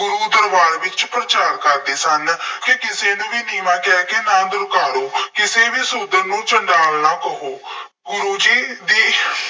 ਗੁਰੂ ਦਰਬਾਰ ਵਿੱਚ ਪ੍ਰਚਾਰ ਕਰਦੇ ਸਨ। ਕਿ ਕਿਸੇ ਨੂੰ ਵੀ ਨੀਂਵਾਂ ਕਹਿ ਕੇ ਨਾ ਦੁਰਕਾਰੋ, ਕਿਸੇ ਵੀ ਸ਼ੂਦਰ ਨੂੰ ਸੰਝਾਲ ਨਾ ਕਹੋ। ਗੁਰੂ ਜੀ ਦੀ